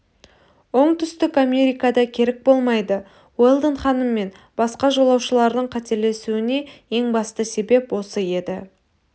оңтүстік америкада керік болмайды уэлдон ханым мен басқа жолаушылардың қателесуіне ең басты себеп осы еді